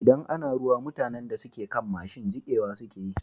Idan ana ruwa, mutanan da suke kan mashin jikewa suke yi.